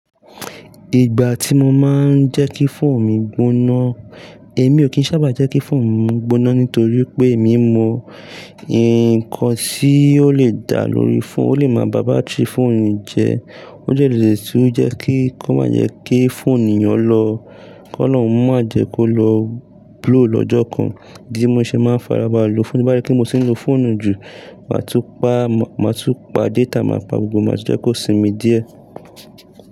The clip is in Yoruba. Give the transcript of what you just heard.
Ìgbà tí mo máa ń jẹ́ kí fóònù mi gbona, èmi ò kí ń sábà jẹ́ kí fóònù mi gbona nítorí pé èmi mọ ǹkan tí ó lè dá lórí fóònù, ó lè máa bá batiri fóònù mi jẹ́. Ó dẹ́ le tun jẹ́ kí, kó má jẹ́ kí fóònù o lọ. K'olohun má jẹ́ kó lọ blow lọ́jọ́ kan. Idi mo ṣe máa ń fara balẹ lọ fóònù, ti ń bá ri pé mo ti ń lo fóònù jù. Màá tú pá, màá tú pá data, màá pa gbogbo e, màá jẹ́ kó sinmi díẹ̀.